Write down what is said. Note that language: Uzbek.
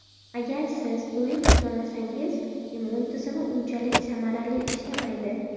Agar siz to‘yib uxlamasangiz immun tizimi unchalik samarali ishlamaydi.